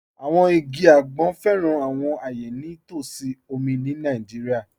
Àwọn igi agbọn fẹ́ran àwọn ayé ní t'ọsí omi ni Naijíríà.